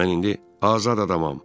Mən indi azad adamam.